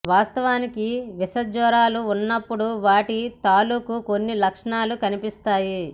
వాస్తవానికి విష జ్వరాలు ఉన్నప్పుడు వాటి తాలూకూ కొన్ని లక్షణాలు కనిపిస్తాయి